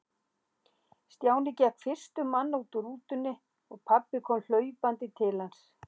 Stjáni gekk fyrstur manna út úr rútunni og pabbi kom hlaupandi til hans.